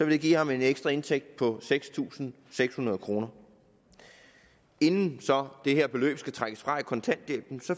det give ham en ekstra indtægt på seks tusind seks hundrede kroner inden det her beløb skal trækkes fra i kontanthjælpen